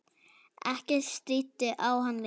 Ekkert stríddi á hann lengur.